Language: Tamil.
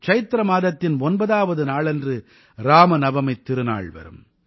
சைத்ர மாதத்தின் ஒன்பதாவது நாளன்று இராமநவமித் திருநாள் வரும்